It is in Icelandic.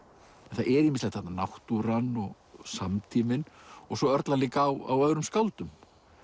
það er ýmislegt þarna náttúran og samtíminn og svo örlar líka á öðrum skáldum